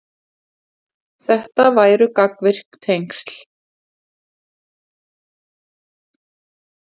Þetta væru gagnvirk tengsl.